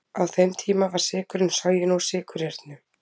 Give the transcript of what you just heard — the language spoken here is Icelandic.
Á þeim tíma var sykurinn soginn úr sykurreyrnum.